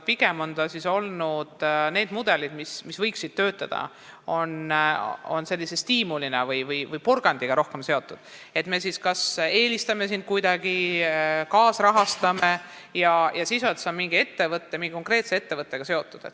Pigem on kõik need mudelid, mis võiksid töötada, rohkem seotud mingi stiimuli või porgandiga – kas me siis eelistame või kaasrahastame neid, kes on vaid mingi konkreetse ettevõttega seotud.